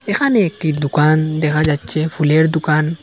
এখানে একটি দোকান দেখা যাচ্ছে ফুলের দোকান।